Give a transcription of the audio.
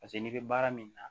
Paseke n'i bɛ baara min na